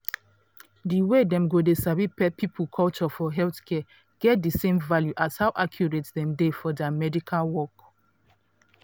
di way dem go dey sabi people culture for healthcare get di same value as how accurate dem dey for dia medical work.